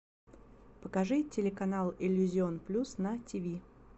покажи телеканал иллюзион плюс на тв